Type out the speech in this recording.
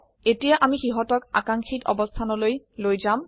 এতিয়া আমি সিহতক আকাঙ্ক্ষিত অবস্থানলৈ লৈ যাম